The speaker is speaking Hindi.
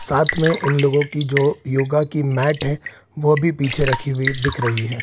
साथ में इन लोगों की जो योगा की मैट है वो भी पीछे रखी हुई दिख रही है।